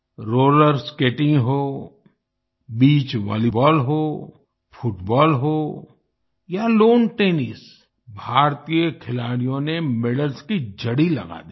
roller skating हो beach volleyball हो football हो या टेनिस भारतीय खिलाड़ियों ने मेडल्स की झड़ी लगा दी